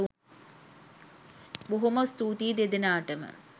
බොහොම ස්තූතියි දෙදෙනාටම